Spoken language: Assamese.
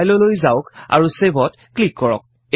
File লৈ যাওক আৰু Save ত ক্লিক কৰক